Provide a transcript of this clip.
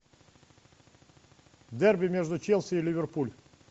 дерби между челси и ливерпуль